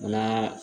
A n'a